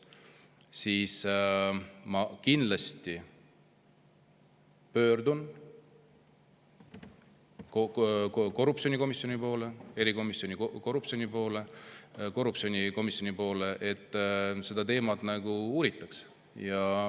Siis ma kindlasti pöördun korruptsiooni erikomisjoni poole, et seda teemat uuritaks.